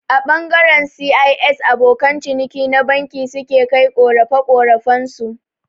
A ɓangaren C.I.S abokan ciniki na banki su ke kai ƙorafe-ƙorafen su